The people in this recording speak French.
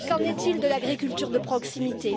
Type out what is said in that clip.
Qu'en est il de l'agriculture de proximité?